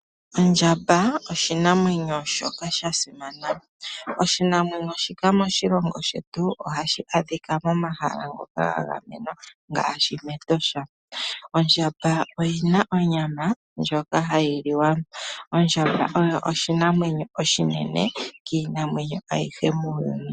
Ondjamba oshinamwenyo shoka sha simana. Oshinamwenyo shika moshilongo shetu ohashi adhika momahala ngoka ga gamenwa ngaashi mEtosha. Ondjamba oyina onyama ndjoka hayi liwa. Ondjamba oyo oshinamwenyo oshinene kiinamwenyo ayihe muuyuni.